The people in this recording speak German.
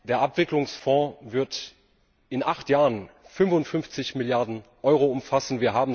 Der Abwicklungsfond wird in acht Jahren 55 Milliarden Euro umfassen.